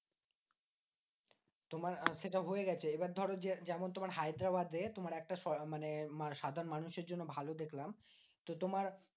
তোমার সেটা হয়ে গেছে। এবার ধরো যে যেমন তোমার হায়দ্রাবাদে তোমার একটা মানে সাধারণ মানুষের জন্য ভালো দেখলাম। তো তোমার